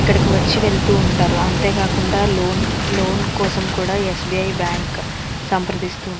ఇక్కడికి వచ్చి వెళ్తూ ఉంటారు. అంతే కాకుండా లోన్ లోన్ కోసం కూడా ఎ. స్బి. ఐ. బ్యాంకు సంప్రదిస్తూ ఉం --